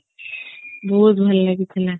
ବହୁତ ଭଲ ଲାଗୁଥିଲା